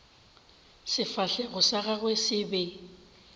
sefahlego sa gagwe se be